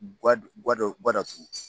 Guwa guwa dɔ guwa datugu.